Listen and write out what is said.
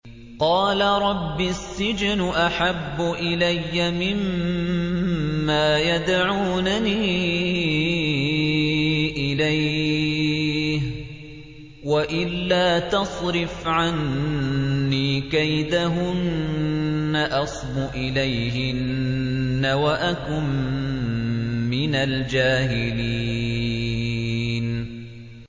قَالَ رَبِّ السِّجْنُ أَحَبُّ إِلَيَّ مِمَّا يَدْعُونَنِي إِلَيْهِ ۖ وَإِلَّا تَصْرِفْ عَنِّي كَيْدَهُنَّ أَصْبُ إِلَيْهِنَّ وَأَكُن مِّنَ الْجَاهِلِينَ